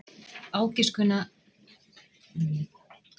Ágiskunina er gott að finna með því að skoða graf af fallinu.